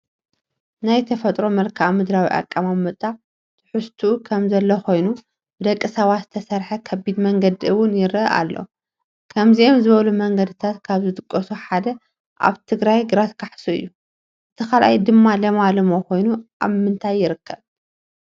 ናይ ተፈጥሮ መልክኣ ምድራዊ ኣቐማምጣ ትሕዝትኡ ከምዘሎ ኾይኑ ብደቂ ሰባት ዝተሰርሐ ከቢድ መንገዲ ውን የረአ ኣሎ፡፡ ከምዚኦም ዝበሉ መንገድታት ካብ ዝጥቀሱ ሓደ ኣብ ትግራይ ግራት ካሕሱ እዩ፡፡ እቲ ካልኣይ ድማ ለማለሞ ኮይኑ ኣብ ምንታይ ይርከብ?